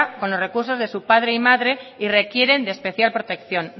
con los recursos de su padre y madre y requieren de especial protección